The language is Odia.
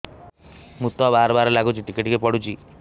ମୁତ ବାର୍ ବାର୍ ଲାଗୁଚି ଟିକେ ଟିକେ ପୁଡୁଚି